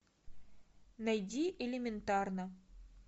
найди элементарно